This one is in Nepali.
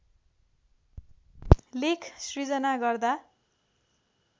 लेख सृजना गर्दा